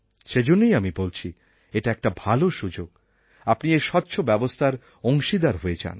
সেইজন্যই আমি বলছি এটা একটা ভালো সুযোগ আপনি এই স্বচ্ছ ব্যবস্থার অংশীদার হয়ে যান